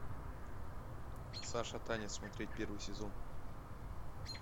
саша таня смотреть первый сезон